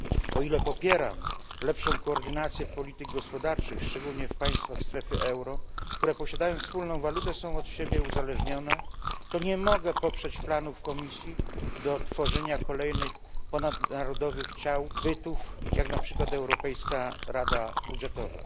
O ile popieram lepszą koordynację polityk gospodarczych, szczególnie w państwach strefy euro, które posiadają wspólną walutę i są od siebie uzależnione, to nie mogę poprzeć planów Komisji dotyczących tworzenia kolejnych ponadnarodowych bytów, jak na przykład Europejska Rada Budżetowa.